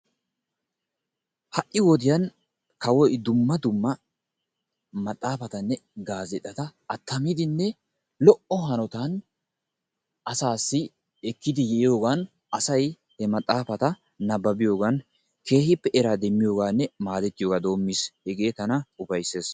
Ha'i wodiyan kawoy dumma dumma maxaafatanne gaazeexata attamidinne lo''o hanotan asaassi ekkidi yiyoogan asay he maxxafata nababbiyogan kehippe eraa demmiyogaanne madettiyogaa doomiis. Hege tana ufayssees.